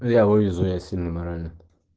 я вывезу я сильный морально